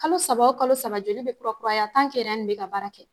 Kalo saba o kalo saba joli be kura kuraya tan kɛ ɛrɛn nin be ka baara kɛ